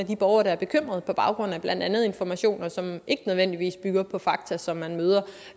de borgere der er bekymrede på baggrund af blandt andet informationer som ikke nødvendigvis bygger på fakta og som man møder